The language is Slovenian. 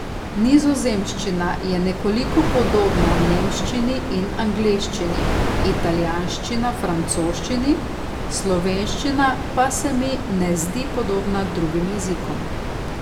Nizozemščina je nekoliko podobna nemščini in angleščini, italijanščina francoščini, slovenščina pa se mi ne zdi podobna drugim jezikom.